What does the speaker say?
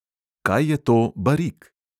Kaj je to barik?